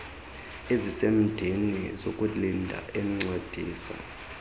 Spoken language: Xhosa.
ezisemdeni zokulinda encedisa